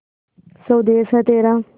स्वदेस है तेरा